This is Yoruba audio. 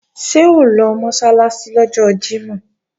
Ṣé o lọ Mọ́sálásí lọ́jọ́ Jímọ̀?